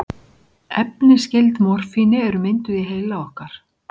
Efni skyld morfíni eru mynduð í heila okkar.